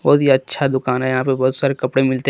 बहुत ही अच्छा दुकान है यहां पे बहुत सारे कपड़े मिलते हैं।